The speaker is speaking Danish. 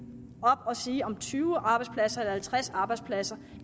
sige om tyve arbejdspladser eller halvtreds arbejdspladser